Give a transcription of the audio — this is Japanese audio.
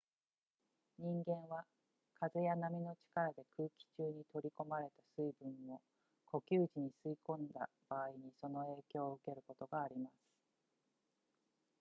人間は風や波の力で空気中に取り込まれた水分を呼吸時に吸い込んだ場合にその影響を受けることがあります